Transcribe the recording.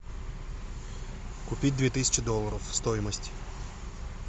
купить две тысячи долларов стоимость